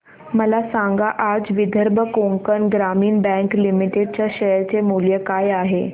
मला सांगा आज विदर्भ कोकण ग्रामीण बँक लिमिटेड च्या शेअर चे मूल्य काय आहे